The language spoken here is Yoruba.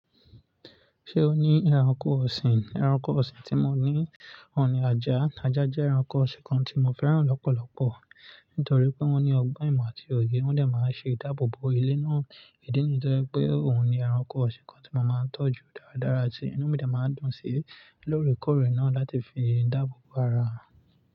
Ṣé o ní ẹranko ọ̀sìn? Ẹranko ọ̀sìn tí mo ní òun ni ajá. Ajá jẹ́ ẹranko ọ̀sìn kan tí mo fẹ́ràn lọ́pọ̀lọpọ̀ nítorí pé wọ́n ní ọgbọ́n ìmọ̀ àti òye. Wọ́n de máa ń ṣe ìdáàbòbò ilé náà. Ìdí nì yii tó jẹ́ pé òun ni ẹranko ọ̀sìn kan tí mo máa ń tọ́jú dáradára ti inú mi de máa ń dùn sí lóòrèkóòrè náà láti fi dáàbòbò ara.